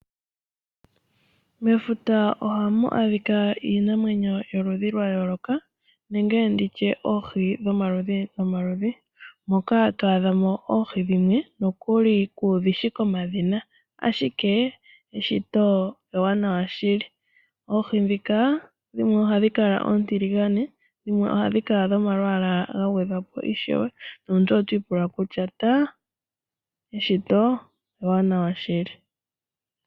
Mefuta ohamu adhika iinamwenyo yomaludhi gayooloka nenge nditye oohi dhomaludhi nomaludhi. Koka to adha mo oohi dhimwe nokuli kuudhi shi komadhina. Ashike eshito ewanawa shili, oohi ndhika dhimwe ohadhi kala oontiligane, dhimwe ohadhi kala dhomalwaala gagwedhwa po ishewe. Nomuntu otwiipula kutya ta! Eshito ewanawa shili.